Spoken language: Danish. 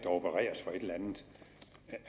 opereres for et eller andet